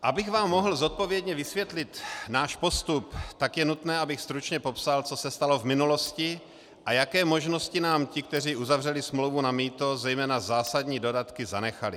Abych vám mohl zodpovědně vysvětlit náš postup, tak je nutné, abych stručně popsal, co se stalo v minulosti a jaké možnosti nám ti, kteří uzavřeli smlouvu na mýto, zejména zásadní dodatky, zanechali.